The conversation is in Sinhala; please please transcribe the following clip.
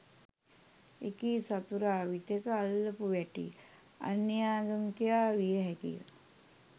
එකී සතුරා විටෙක අල්ලපු වැටේ අන්‍යාගමිකයා විය හැකිය